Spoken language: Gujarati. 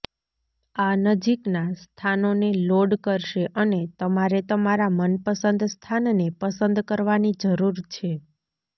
આ નજીકનાં સ્થાનોને લોડ કરશે અને તમારે તમારા મનપસંદ સ્થાનને પસંદ કરવાની જરૂર છે